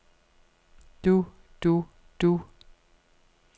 du du du